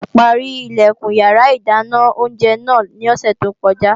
Wọn páárì Ilẹ̀kùn iyàrá ìdáná oúnjẹ náà ní òsè tó kọjá